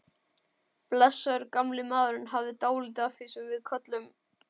Blessaður gamli maðurinn hafði dálítið af því sem við köllum